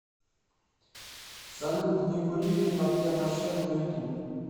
салют не курили папье маше на ютуб